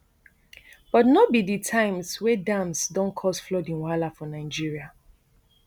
but no be di times wey dams don cause flooding wahala for nigeria